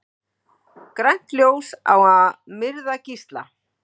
Grænt ljós á að myrða gísla